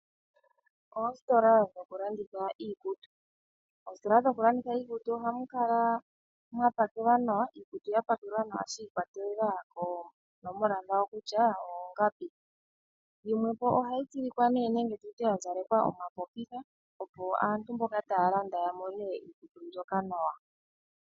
Ostola dho kulanditha iikutu, ostola dho kulanditha iikutu ohamu kala mwa pakelwa nawa iikutu yapakelwa nawa shikwatelela konomola dhawo kutya oongapi. Yimwe po ohayi tsilikwa nenge tutye yazalekwa omapopitha opo aantu mboka taa landa yamone iikutu mbyoka nawa.